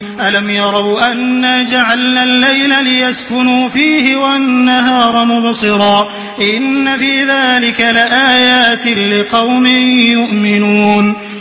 أَلَمْ يَرَوْا أَنَّا جَعَلْنَا اللَّيْلَ لِيَسْكُنُوا فِيهِ وَالنَّهَارَ مُبْصِرًا ۚ إِنَّ فِي ذَٰلِكَ لَآيَاتٍ لِّقَوْمٍ يُؤْمِنُونَ